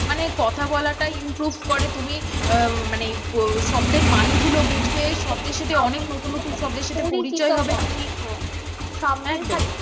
মানে কথা বলাটা improve করে তুমি আহ মানে শব্দের মানেগুলো বুঝবে, শব্দের সাথে অনেক নতুন নতুন শব্দের সাথে পরিচয় হবে তুমি, হ্যাঁ শব্দের সাথে